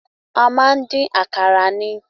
A máa ń dín àkàrà ni.